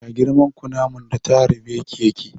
Yaya girman kunaman da ta harbe ki yake?